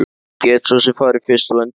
Ég get svo sem farið fyrst þú endilega vilt.